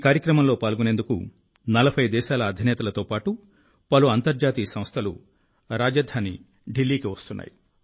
ఈ కార్యక్రమంలో పాల్గొనేందుకు 40 దేశాల అధినేతలతో పాటు పలు అంతర్జాతీయ సంస్థలు రాజధాని ఢిల్లీకి వస్తున్నాయి